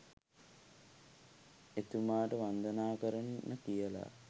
එතුමාට වන්දනා කරන්න කියලා